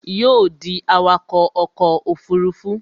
Yóò ó dí awakọ̀ ọkọ̀ òfurufú